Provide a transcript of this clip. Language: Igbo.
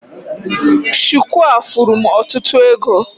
Shuku a furu m ọtụtụ ego